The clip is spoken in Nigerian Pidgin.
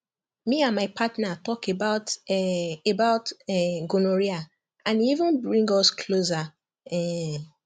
me and my partner talk about um about um gonorrhea and e even bring us closer um